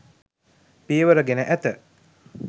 පියවර ගෙන ඇත